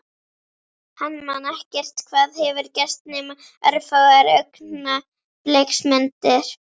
Hann man ekkert hvað hefur gerst nema örfáar augnabliksmyndir.